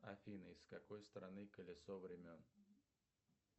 афина из какой страны колесо времен